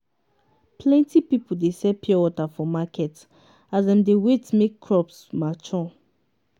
plenti pipo dey sell pure water for market as dem dey wait make crops mature.